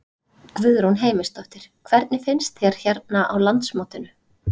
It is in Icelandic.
Guðrún Heimisdóttir: Hvernig finnst þér hérna á landsmótinu?